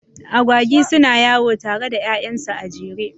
Agwagi suna yawo tare da ƴaƴansu a jere.